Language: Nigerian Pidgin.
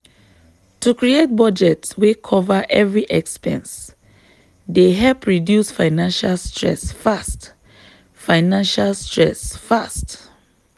to create budget wey cover every expense dey help reduce financial stress fast. financial stress fast.